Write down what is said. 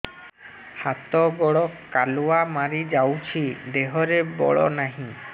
ହାତ ଗୋଡ଼ କାଲୁଆ ମାରି ଯାଉଛି ଦେହରେ ବଳ ନାହିଁ